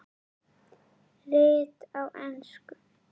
Rit á ensku